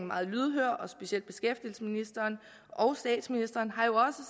meget lydhør og specielt beskæftigelsesministeren og statsministeren har jo